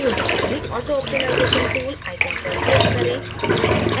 tool bar में auto optimization tool icon पर click करें